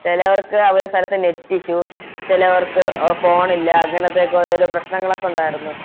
ചെലവർക്ക് അവരുടെ സ്ഥലത്ത് Net issue ചെലവർക്ക് Phone ഇല്ല അങ്ങനത്തെ ഒക്കെ ഓരോരോ പ്രശ്നങ്ങളൊക്കെ ഒണ്ടാരുന്നു